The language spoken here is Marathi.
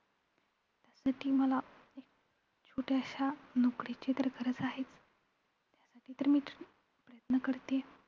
आणि ती मला एक छोटयाश्या नोकरीची तर गरज आहेच. त्यासाठी तर मीच प्रयत्न करतीये.